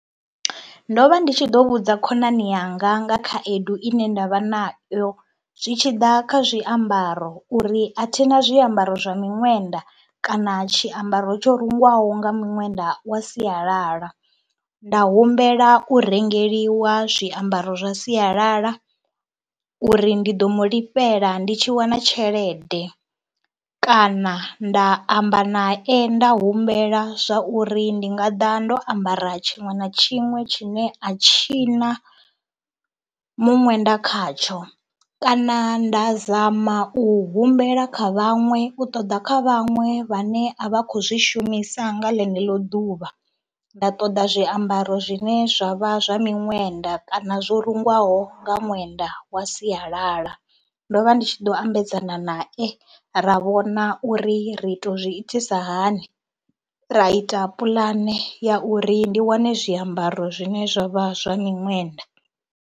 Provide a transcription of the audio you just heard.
Ndo vha ndi tshi ḓo vhudza khonani yanga nga khaedu ine nda vha nayo zwi tshi ḓa kha zwiambaro uri a thi na zwiambaro zwa miṅwenda kana tshiambaro tsho rengwaho nga miṅwenda wa sialala, nda humbela u rengeliwa zwiambaro zwa sialala uri ndi ḓo mu lifhela ndi tshi wana tshelede kana nda amba nae nda humbela zwa uri ndi nga ḓa ndo ambara tshiṅwe na tshiṅwe tshine a tshi na muṅwenda khatsho kana nda zama u humbela kha vhaṅwe, u ṱoḓa kha vhaṅwe vhane a vha khou zwi shumisa nga ḽeneḽo ḓuvha. Nda ṱoḓa zwiambaro zwine zwa vha zwa miṅwenda kana zwo rungwaho nga ṅwenda wa siyalala. Ndo vha ndi tshi ḓo ambedzana nae ra vhona uri ri tou zwi itisa hani, ra ita puḽane ya uri ndi wane zwiambaro zwine zwa vha zwa miṅwenda.